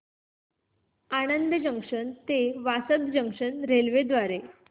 Anand junction ते Vasad junction railway द्वारे